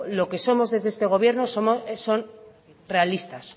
lo que somos en este gobierno somos realistas